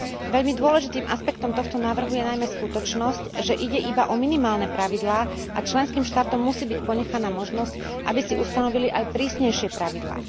Veľmi dôležitým aspektom tohto návrhu je najmä skutočnosť, že ide iba o minimálne pravidlá a členským štátom musí byť ponechaná možnosť, aby si ustanovili aj prísnejšie pravidlá.